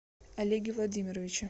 олеге владимировиче